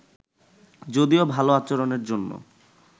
যদিও ভালো আচরণের জন্য